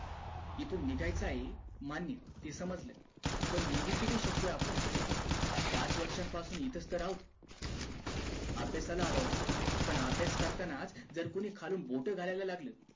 इथून निघायचं हे मान्य ते समजले पण निघू कुठं शकतो आपण पाच वर्षांपासून इथंच तर आहोत अभ्यासा ला होते पण अभ्यास करतानाच जर कुणी खालून बोट घालायला लागल